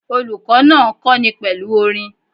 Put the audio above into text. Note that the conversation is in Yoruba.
Olùkó náà n kóni pèlú orin